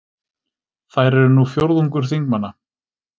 Þær eru nú fjórðungur þingmanna